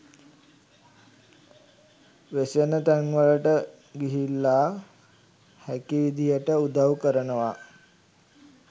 වෙසෙන තැන්වලට ගිහිල්ලා හැකි විදියට උදව් කරනවා.